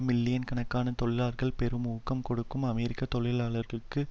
million கணக்கான தொழிலாளர்களுக்கு பெரும் ஊக்கம் கொடுக்கும் அமெரிக்க தொழிலாளர்களுக்கும்